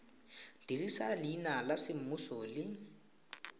dirisa leina la semmuso le